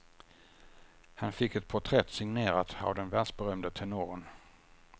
Han fick ett porträtt signerat av den världsberömde tenoren.